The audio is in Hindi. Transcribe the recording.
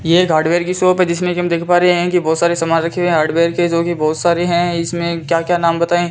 यह एक हार्डवेयर की शॉप है जिसमें कि हम देख पा रहे हैं कि बहुत सारे सामान रखे हुए हैं हार्डवेयर के जो कि बहुत सारे हैं इसमें क्या क्या नाम बताएं।